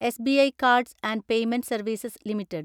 SBI Cards and Payment Services limited